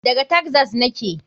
Daga taxas yake.